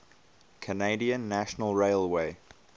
canadian national railway